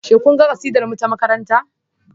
Shin kun ga kasidarmu ta makaranta?